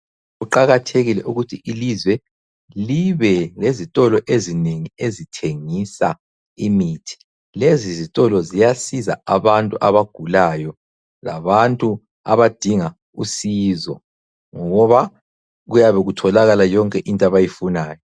Kuqakathekile ukuthi ilizwe libe lezitolo ezinengi ezithengisa imithi, lezi zitolo ziyasiza abantu abagulayo, labantu abadinga usizo ngoba kuyabe kutholakala yonke into abayifunayo.